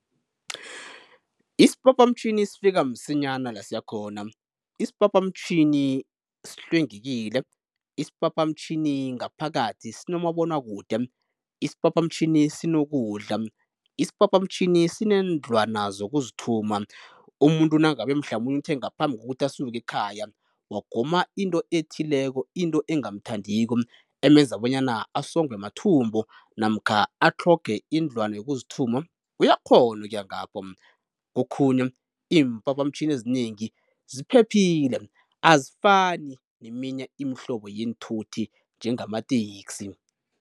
Isiphaphamtjhini sifika msinyana la siyakhona, isiphaphamtjhini sihlwengekile, isiphaphamtjhini ngaphakathi sinomabonwakude, isiphaphamtjhini sinokudla, isiphaphamtjhini sineendlwana zokuzithuma. Umuntu nangabe mhlamunye uthe ngaphambi kokuthi asuke ekhaya wagoma into ethileko into engamthandiko emenza bonyana asongwe mathumbu namkha atlhoge indlwana yokuzithuma, uyakghona ukuya ngapho. Kokhunye iimphaphamtjhini ezinengi ziphephile azifani neminye imihlobo yeenthuthi njengamateksi.